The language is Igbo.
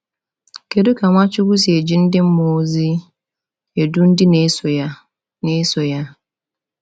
Kedu ka Nwachukwu si eji ndị mmụọ ozi edu ndị na-eso ya? na-eso ya?